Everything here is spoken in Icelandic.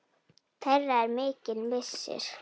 Þeirra er mikill missir.